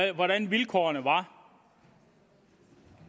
jo hvordan vilkårene var